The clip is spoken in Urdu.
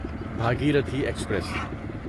بھاگیرتھی ایکسپریس